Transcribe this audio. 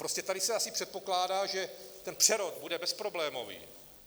Prostě tady se asi předpokládá, že ten přerod bude bezproblémový.